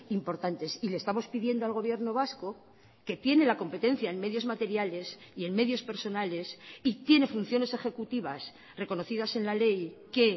importantes y le estamos pidiendo al gobierno vasco que tiene la competencia en medios materiales y en medios personales y tiene funciones ejecutivas reconocidas en la ley que